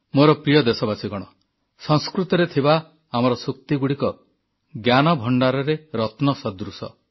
ମୋର ପ୍ରିୟ ଦେଶବାସୀଗଣ ସଂସ୍କୃତରେ ଥିବା ଆମର ସୂକ୍ତିଗୁଡ଼ିକ ଜ୍ଞାନଭଣ୍ଡାରରେ ରତ୍ନ ସଦୃଶ